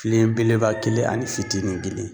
Filen belebeleba kelen ani fitinin kelen.